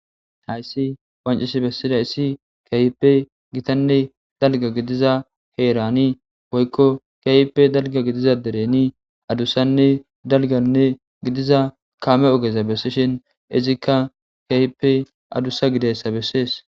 Hayissi qoncisi besidayisi gitanne dalga gidiza herani woyiko kehippe dalga gidiza deren adusanne dalga gidiza kame oge besishin izika kehippe adusa gidizayisa besees